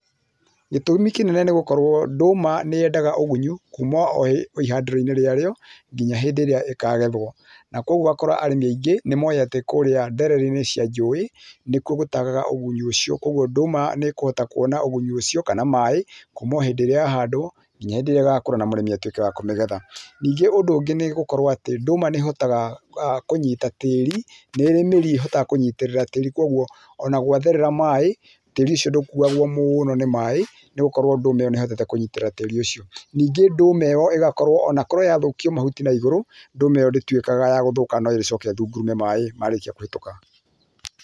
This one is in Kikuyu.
Gĩtũmi kĩnene nĩ gũkorwo atĩ ndũma nĩyendaga ũgunyu kuuma o ihandĩroinĩ rĩarĩo nginya hĩndĩ ĩrĩa ĩkagethwo. Na kwoguo ũgakora arĩmi aingĩ nĩ moĩ atĩ kũrĩa ndererinĩ cia rũĩ nĩkuo gũtagaga ũgunyu ũcio kwoguo ndũma nĩ ĩkũhota kuona ũgunyu ũcio kana maĩ kuuma o hĩndĩ ĩrĩa yahandwo nginya hĩndĩ ĩrĩa ĩgakũra na mũrĩmi atuĩke wa kũmĩgetha. Ningĩ ũndũ ũngĩ nĩ gũkorwo atĩ ndũma nĩ ĩhotaga kũnyita tĩĩri, nĩĩrĩ mĩri ĩhotaga kũnyitĩrĩra tĩiri kwoguo ona gwatherera maĩ tĩĩri ũcio ndũkuwagwo mũno nĩ maĩ nĩ gũkorwo ndũma ĩyo nĩ ĩhotete kũnyitirĩra tĩĩri ũcio. Ningĩ ndũma ĩyo ĩgakorwo ona korwo yathũkio mahuti naigũru ndũma ĩyo ndĩtuĩkaga ya gũthũka no ĩrĩcoka ĩthungurume maĩ marĩkia kũhĩtũka.